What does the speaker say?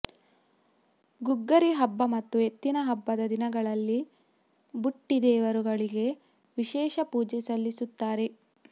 ಗುಗ್ಗರಿ ಹಬ್ಬ ಮತ್ತು ಎತ್ತಿನ ಹಬ್ಬದ ದಿನಗಳಲ್ಲಿ ಬುಟ್ಟಿ ದೇವರುಗಳಿಗೆ ವಿಶೇಷ ಪೂಜೆ ಸಲ್ಲಿಸುತ್ತಾರೆ